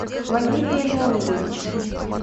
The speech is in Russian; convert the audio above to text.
валерия леонидовича